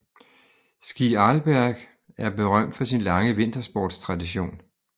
Ski Arlberg er berømt for sin lange vintersportstradition